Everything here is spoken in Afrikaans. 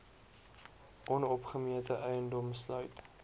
onopgemete eiendom sluit